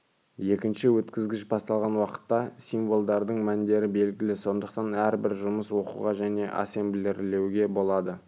екінші өткізгіш басталған уақытта символдардың мәндері белгілі сондықтан әрбір жұмысты оқуға және ассемблерлеуге болады